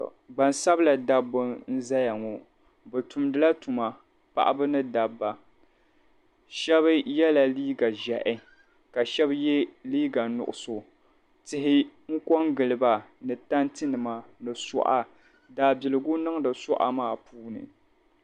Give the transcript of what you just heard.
gbaŋsabila dabba n-zaya ŋɔ bɛ tumdi la tuma paɣaba ni dabba shɛba yela liiga ʒiɛhi ka shɛba ye liiga nuɣiso tihi n-kɔ n-gili ba ni tantinima ni suɣa daabiligu niŋdi suɣa maa puuni